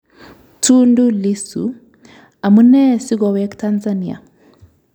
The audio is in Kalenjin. Tundu Lissu: Amune si kogoweek Tansania